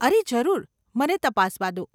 અરે, જરૂર, મને તપાસવા દો.